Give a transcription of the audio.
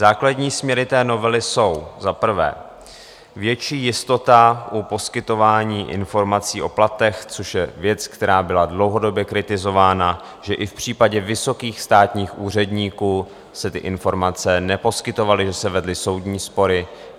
Základní směry té novely jsou: za prvé větší jistota u poskytování informací o platech, což je věc, která byla dlouhodobě kritizována, že i v případě vysokých státních úředníků se ty informace neposkytovaly, že se vedly soudní spory.